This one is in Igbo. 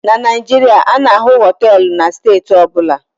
Na Naijiria, a na-ahụ họteelụ na steeti ọ bụla